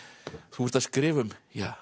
þú ert að skrifa um